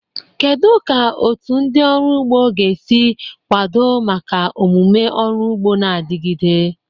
Kedu ka otu ndị ọrụ ugbo ga-esi kwado maka omume ọrụ ugbo na-adigide?